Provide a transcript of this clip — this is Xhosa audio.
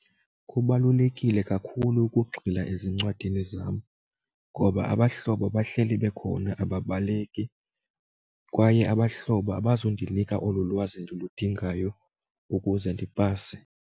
Kubalulekile kakhulu ukugxila ezincwadini zam ngoba abahlobo bahleli bekhona ababaleki kwaye abahlobo abazundinika olu lwazi endiludingayo ukuze ndipase.